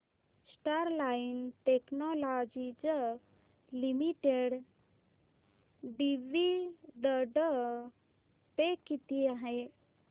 Sterlite technologies limited dividend pay किती आहे